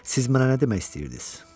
Siz mənə nə demək istəyirdiniz?